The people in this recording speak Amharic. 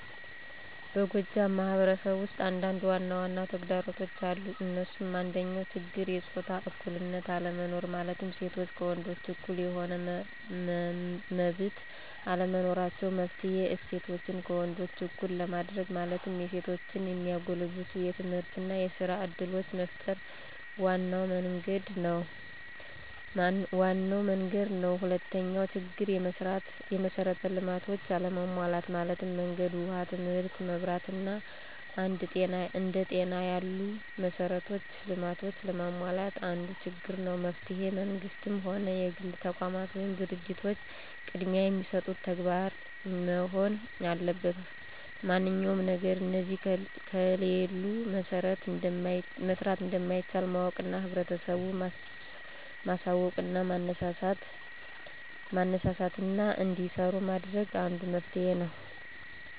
በጎጃም ማህበረሰብ ውስጥ አንዳንድ ዋናዋና ተግዳሮቶች አሉ እንሱም፦ አንደኛው ችግር የጾታ እኩልነት አለመኖር ማለትም ሴቶች ከወንዶች እኩል የሆነ መመብት አለመኖራቸው። መፍትሔ :እሴቶችን ከወንዶች እኩል ለማድርግ ማለትም የሴቶችን የሚያጎለብቱ የትምህርትና የስራ እድሎችን መፍጠር ዋናው መንግድ ነው። ሁለተኛው ችግር፦ የመሥራት ልማቶች አለመሟላት ማለትም መንገድ፣ ውሃ ትምህርት፣ መብራት አና አንደ ጤና ያሉ መሠራት ልማቶች አለመሟላት አንዱ ችግር ነው። መፍትሔ መንግስትም ሆነ የግል ተቋማት ወይም ድርጂቶች ቅድሚያ የሚሰጡት ተግባር መሆን አለበት ማንኛውም ነገር እነዚህ ከሌሉ መሠራት እንደማይቻል ማወቅና ህብረተሰቡን ማሳውቅና ማነሳሳትና እንዲሰራ ማድረግ አንዱ መፍትሔ ነው።